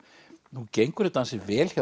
nú gengur þetta ansi vel hjá